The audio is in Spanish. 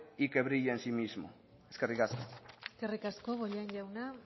y que brille en sí mismo eskerrik asko eskerrik asko bollain jauna